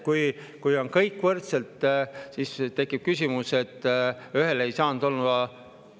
Kui on kõik võrdne, siis tekib küsimus, et ühel ei saanud olla …